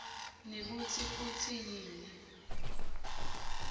nekutsi futsi yini